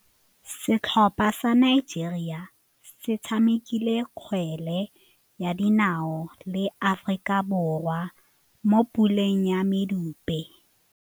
Setlhopha sa Nigeria se tshamekile kgwele ya dinaô le Aforika Borwa mo puleng ya medupe.